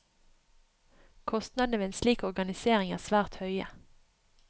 Kostnadene ved en slik organisering er svært høye.